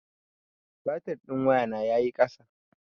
Batir ɗin wayana ya yi ƙasa.